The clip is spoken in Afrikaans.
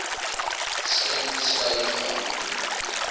streng geskei gehou